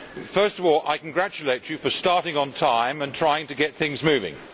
First of all, I congratulate you for starting on time and trying to get things moving.